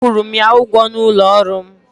A kwụrụ m ya ụgwọ n'ụlọ ọrụ m.